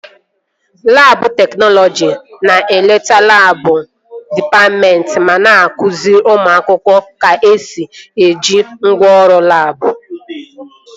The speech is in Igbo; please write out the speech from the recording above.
Labụ teknọlọjist na-eleta labụ dịpatmentị ma na-akụzi ụmụ akwụkwọ ka-esi eji ngwaọrụ labụ